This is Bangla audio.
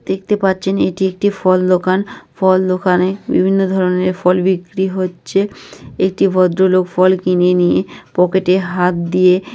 দেখতে পাচ্ছেন এটি একটি ফল দোকান ফল দোকানে। বিভিন্ন ধরনের ফল বিক্রি হচ্ছে। একটি ভদ্রলোক ফল কিনে নিয়ে পকেটে হাত দিয়ে--